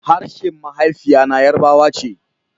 Harshen mahaifiya na yarbawa ce